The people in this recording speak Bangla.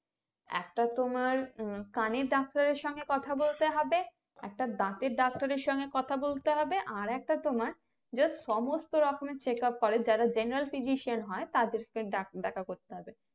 একটা তোমার উম কানের ডাক্তারের সঙ্গে কথা বলতে হবে একটা দাঁতের ডাক্তারের সঙ্গে কথা বলতে হবে আর একটা তোমার যা সমস্ত রকমের চেকাপ করে যারা general physician হয় তাদেরকে দেখা করতে হবে